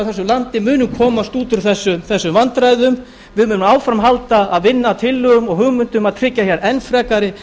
þessu landi munum komast út úr þessum vandræðum við munum áfram halda að vinna að tillögum og hugmyndum að tryggja hér enn frekari